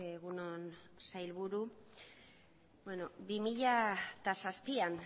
egun on sailburu bi mila zazpian